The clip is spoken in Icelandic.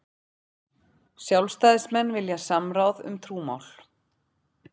Sjálfstæðismenn vilja samráð um trúmál